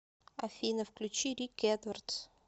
афина включи рики эдвардс